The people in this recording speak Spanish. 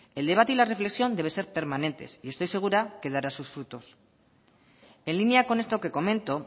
el debate y la reflexión deben ser permanentes y estoy segura que dará sus frutos en línea con esto que comento